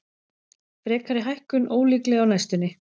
Frekari hækkun ólíkleg á næstunni